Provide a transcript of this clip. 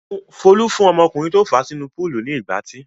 Folú fún ọmọkùnrin tó fà á sínú púúlù ní ìgbátí.